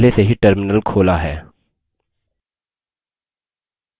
यहाँ मैंने पहले से ही terminal खोला है